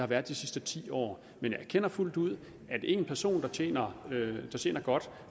været de sidste ti år man jeg erkender fuldt ud at en person der tjener godt